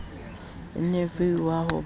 wa genevieve wa ho ba